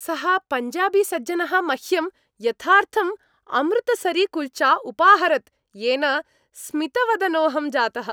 सः पञ्जाबीसज्जनः मह्यं यथार्थम् अमृतसरीकुल्चा उपाहरत्, येन स्मितवदनोहं जातः।